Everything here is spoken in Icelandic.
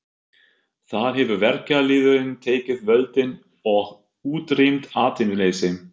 Þar hefur verkalýðurinn tekið völdin og útrýmt atvinnuleysi.